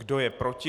Kdo je proti?